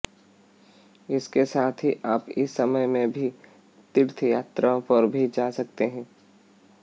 इसके साथ ही आप इस समय में तीर्थ यात्राओं पर भी जा सकते हैं